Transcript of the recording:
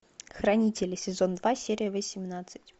хранители сезон два серия восемнадцать